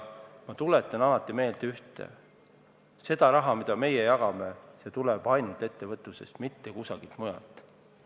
Ma tuletan alati meelde ühte: see raha, mida me jagame, tuleb ainult ettevõtlusest, mitte kusagilt mujalt.